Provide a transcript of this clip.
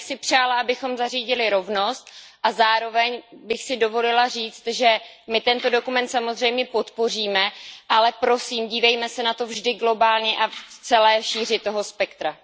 Já bych si přála, abychom zařídili rovnost a zároveň bych si dovolila říct, že my tento dokument samozřejmě podpoříme, ale prosím, dívejme se na to vždy globálně a v celé šíři toho spektra.